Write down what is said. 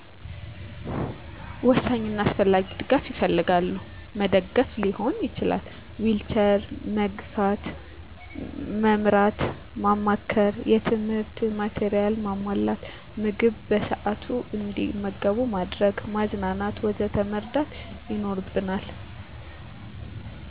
ወሳኝ እና አስፈላጊ ድጋፍ ይፈልጋሉ። መደገፍ ሊሆን ይችላል፣ ዊልቸር መግፋት፣ መምራት፣ ማማከር፣ የትምህርት ማቴሪያል ማሟላት፣ ምግብ በሰአቱ አንዲመገቡ ማድረግ፣ ማዝናናት ወዘተ መርዳት ይኖርብናል።